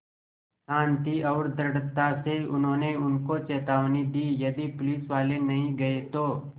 शान्ति और दृढ़ता से उन्होंने उनको चेतावनी दी यदि पुलिसवाले नहीं गए तो